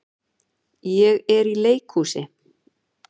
Ég er í leikhúsi.